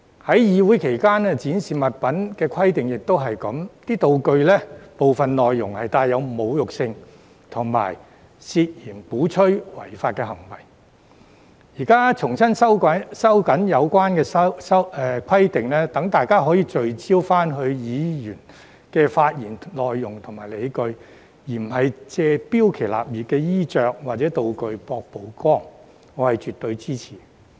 至於在會議期間展示物品的規定，情況亦是一樣，道具的部分內容帶有侮辱性和涉嫌鼓吹違法行為，現在重新收緊有關規定，讓大家可以聚焦議員的發言內容和理據，而不是借標奇立異的衣着或道具博取曝光，我是絕對支持的。